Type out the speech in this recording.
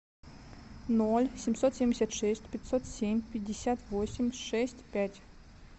ноль семьсот семьдесят шесть пятьсот семь пятьдесят восемь шесть пять